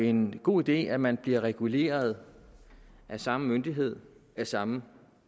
en god idé at man bliver reguleret af samme myndighed af samme